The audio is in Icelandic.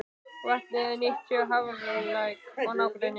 Vatnið er nýtt fyrir Hafralæk og nágrenni.